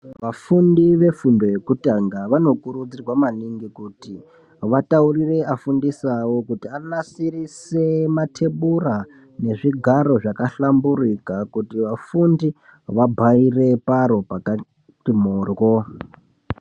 Vafundi vefundo yekutanga, vanokurudzirwa maningi kuti vataurire afundisi awo kuti anasirise mathebhura nezvigaro zvakahlamburika. Kuti vafundi, vabharire paro pakati moryo.